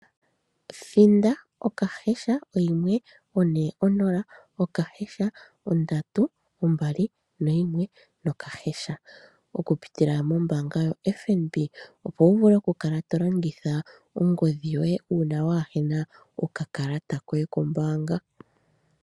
Thinda *140*321# oku pitila mombaanga yaFNB, opo wu vule oku kala to longitha ongodhi yoye uuna waa hena oka kalata koye kombaanga.